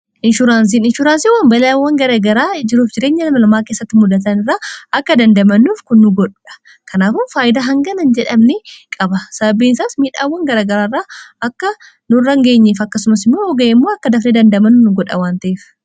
inshuuraansiin inshuuraansiiwwan balaiawwan garagaraa jiruuf jireenya dhalanamaa keessatti muddatan irraa akka dandamanuuf kun nu godhuudha kanaafuu faayyidaa hanganahin jedhamni qaba sababbiinsaas miidhaawwan garagaraaraa akka nu rangeenyiif akkasumas immoo oga'emmoo akka dafne dandamanuu nu godha wantiif